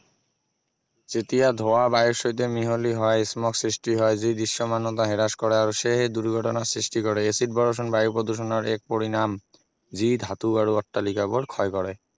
যেতিয়া ধোৱা বায়ুৰ সৈতে মিহলি হয় smog সৃষ্টি হয় যি দৃশ্যমানতা হ্ৰাস কৰে আৰু সেয়েহে দুৰ্ঘটনা সৃষ্টি কৰে এচিড বৰষুণ বায়ু প্ৰদূষণৰ এক পৰিণাম যি ধাতু আৰু অট্টালিকাবোৰ ক্ষয় কৰে